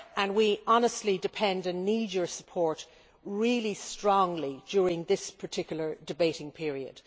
We honestly depend on and need your support really strongly during his particular debating period.